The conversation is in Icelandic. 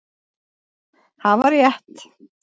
Hafa rétt